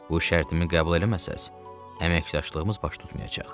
Bu şərtimi qəbul eləməsəniz, əməkdaşlığımız baş tutmayacaq.